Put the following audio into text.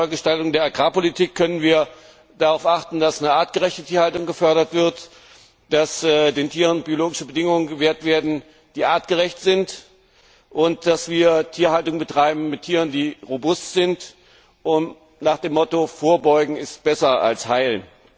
Bei einer Neugestaltung der Agrarpolitik können wir darauf achten, dass artgerechte Tierhaltung gefördert wird, dass den Tieren biologische Bedingungen gewährt werden, die artgerecht sind, und dass wir Tierhaltung mit robusten Tieren betreiben, nach dem Motto Vorbeugen ist besser als heilen.